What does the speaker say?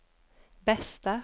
bästa